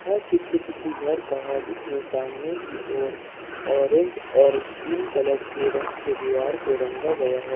यह चित्र किसी घर का है जिसमें सामने की ओर ऑरेंज और स्किन कलर के रंग से दीवार को रंगा गया है।